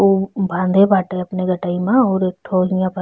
उ बांधे अपने गटाइमा और एक ठो एहा पर --